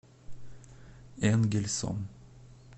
энгельсом